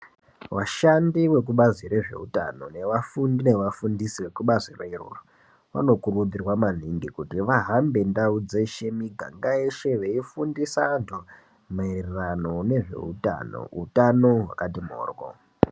Vashandi vekubazi rezveutano nevafundi nevafundisi vekubazi rero. Vanokurudzirwa maningi kuti vahambe ndau dzeshe miganga, yeshe veifundisa antu maererano nezveutano hutano hwakati moryo.